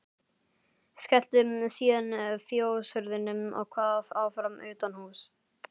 Skellti síðan fjóshurðinni og kvað áfram utanhúss.